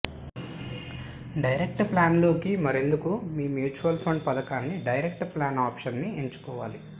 direct ప్లాన్లోకి మారేందుకు మీ మ్యూచువల్ ఫండ్ పథకాని డైరెక్ట్ ప్లాన్ ఆప్షన్ ని ఎంచుకోవాలి